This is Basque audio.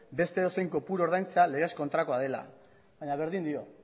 beste edozein kopuru ordaintzea legez kontrakoa dela baina berdin dio